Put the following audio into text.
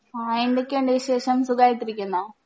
ആ എന്തൊക്കെയുണ്ട് വിശേഷം സുഖായിട്ടിരിക്കുന്നോ